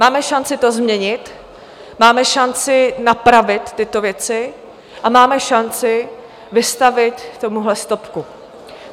Máme šanci to změnit, máme šanci napravit tyto věci a máme šanci vystavit tomuhle stopku.